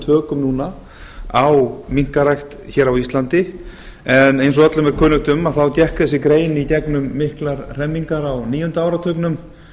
tökum núna á minkarækt hér á íslandi en eins og öllum er kunnugt um gekk þessi grein í gegnum miklar hremmingar á níunda áratugnum